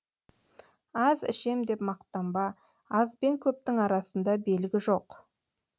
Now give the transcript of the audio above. аз ішем деп мақтанба аз бен көптің арасында белгі жоқ